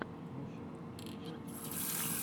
мужчины в деле часть четыре